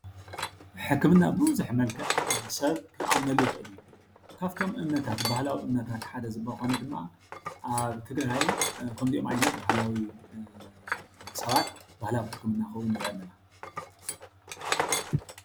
ሕክምና ቡዝሑ መልክዕ ሰብ ክኣምነሉ ይክእል እዩ፡፡ ካብቶም እምነታት ባህለዊ እምነታት ሓደ ዝኮኑ ድማ ኣብ ትግራይ ከምዚኦም ዓይነት ባህላዊ ሰባት ባህላዊ ሕክምና ክህቡ ንርኢ ኣለና፡፡